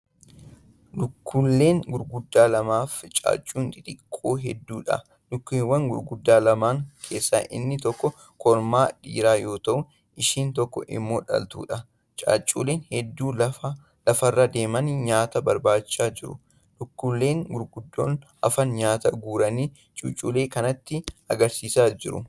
Lukkulee gurguddaa lamaafi caacuu xixiqqoo hedduudha. lukkulee gurguddaa lamaan keessaa inni tokko kormaa (dhiira) yoo ta'u isheen tokko immoo dhaltuudha. caacuuleen hedduun lafarra deemanii nyaata barbaaddachaa jiru. lukkulee gurguddoon hafan nyaata guuranii cuuculee kanatti agarsiisaa jiru.